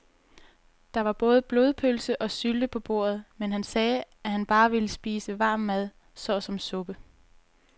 Der var både blodpølse og sylte på bordet, men han sagde, at han bare ville spise varm mad såsom suppe.